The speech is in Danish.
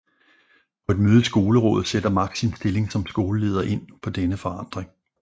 På et møde i Skolerådet sætter Max sin stilling som skoleleder ind på denne forandring